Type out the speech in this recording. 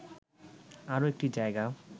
আরো একটি জায়গা